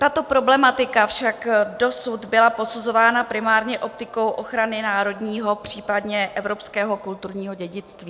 Tato problematika však dosud byla posuzována primárně optikou ochrany národního, případně evropského kulturního dědictví.